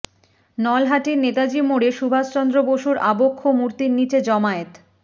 নলহাটির নেতাজি মোড়ে সুভাষচন্দ্র বসুর আবক্ষ মূর্তির নিচে জমায়েত